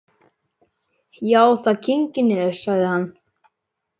Já, það kyngir niður, sagði hann.